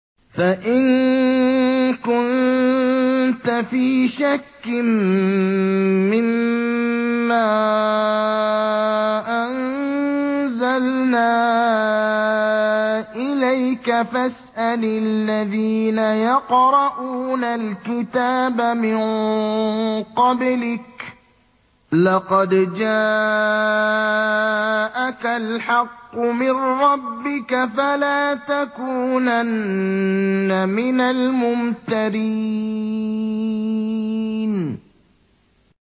فَإِن كُنتَ فِي شَكٍّ مِّمَّا أَنزَلْنَا إِلَيْكَ فَاسْأَلِ الَّذِينَ يَقْرَءُونَ الْكِتَابَ مِن قَبْلِكَ ۚ لَقَدْ جَاءَكَ الْحَقُّ مِن رَّبِّكَ فَلَا تَكُونَنَّ مِنَ الْمُمْتَرِينَ